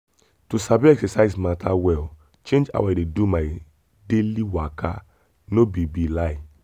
to sabi exercise matter well change how i dey do my daily waka no be be lie.